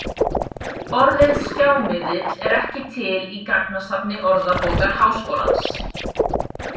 Orðið „skjámiðill“ er ekki til í gagnasafni Orðabókar Háskólans.